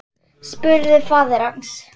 spurði faðir hans.